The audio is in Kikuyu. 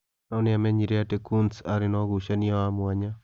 No nĩ aamenyire atĩ Coontz aarĩ na ũgucania wa mwanya.